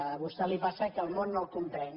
a vostè li passa que el món no el comprèn